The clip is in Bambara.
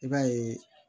I b'a ye